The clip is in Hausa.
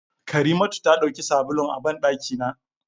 Karimatu ta dauki sabulun a bandaki na.